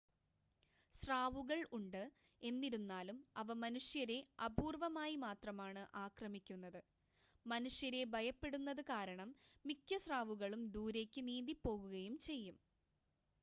സ്രാവുകൾ ഉണ്ട് എന്നിരുന്നാലും അവ മനുഷ്യരെ അപൂർവ്വമായി മാത്രമാണ് ആക്രമിക്കുന്നത് മനുഷ്യരെ ഭയപ്പെടുന്നത് കാരണം മിക്ക സ്രാവുകളും ദൂരേക്ക് നീന്തി പോകുകയും ചെയ്യും